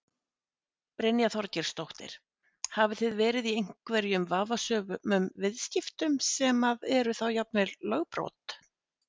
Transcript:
Brynja Þorgeirsdóttir: Hafið þið verið í einhverjum vafasömum viðskiptum sem að eru þá jafnvel lögbrot?